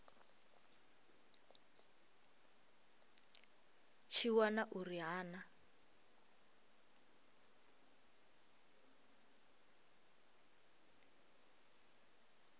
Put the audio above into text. tshi wana uri ha na